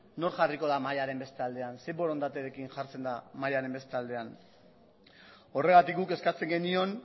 nor jarriko da mahaiaren beste aldean zein borondaterekin jartzen da mahaiaren beste aldean horregatik guk eskatzen genion